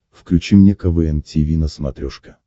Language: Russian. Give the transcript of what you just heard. включи мне квн тиви на смотрешке